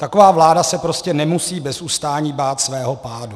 Taková vláda se prostě nemusí bez ustání bát svého pádu.